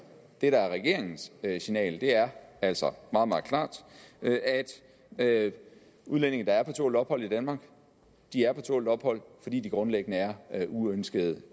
regeringens signal er altså meget meget klart at udlændinge der er på tålt ophold i danmark er på tålt ophold fordi de grundlæggende er er uønskede